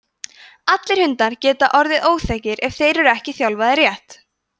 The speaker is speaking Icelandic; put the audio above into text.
allir hundar geta orðið óþekkir ef þeir eru ekki þjálfaðir rétt